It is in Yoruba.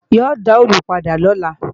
Yóò dá òòlù padà lọ́la